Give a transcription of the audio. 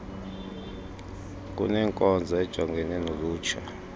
lunenkonzo ejongene nolutsha